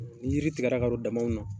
Ni yiri tigɛra ka don damaw na.